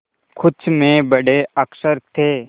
कुछ में बड़े अक्षर थे